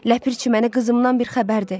Ləpirçi, mənim qızımdan bir xəbərdi.